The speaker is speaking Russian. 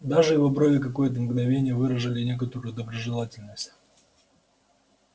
даже его брови какое-то мгновение выражали некоторую доброжелательность